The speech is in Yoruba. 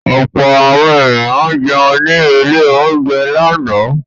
Ọ̀pọ̀ àwọn ènìyàn jẹun ní ilé-oúnjẹ lánàá.